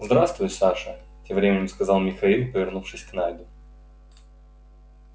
здравствуй саша тем временем сказал михаил повернувшись к найду